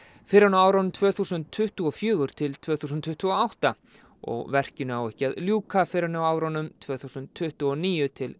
fyrr en á árunum tvö þúsund tuttugu og fjögur til tvö þúsund tuttugu og átta og verkinu á ekki að ljúka fyrr en á árunum tvö þúsund tuttugu og níu til